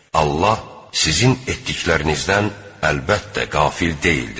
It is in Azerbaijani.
Allah sizin etdiklərinizdən əlbəttə qafil deyildir.